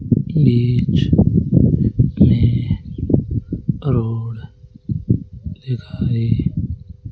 चित्र में रोड दिखाई--